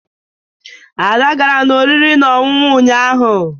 Ada gara n'ụlọ oriri na ọṅụṅụ ụnyaahụ